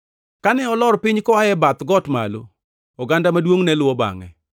Kane olor piny koa e bath got malo, oganda maduongʼ ne luwo bangʼe.